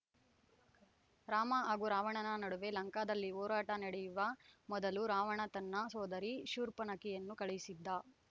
ರಾಮ ಹಾಗೂ ರಾವಣನ ನಡುವೆ ಲಂಕಾದಲ್ಲಿ ಹೋರಾಟ ನಡೆಯುವ ಮೊದಲು ರಾವಣ ತನ್ನ ಸೋದರಿ ಶೂರ್ಪನಖಿಯನ್ನು ಕಳುಹಿಸಿದ್ದ